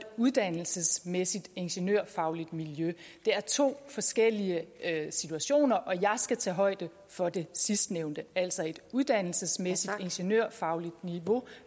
uddannelsesmæssigt ingeniørfagligt miljø det er to forskellige situationer og jeg skal tage højde for det sidstnævnte altså et uddannelsesmæssigt ingeniørfagligt niveau